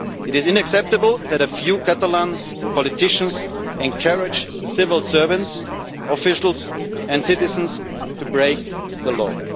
It is unacceptable that a few Catalan politicians encourage civil servants, officials and citizens to break the law.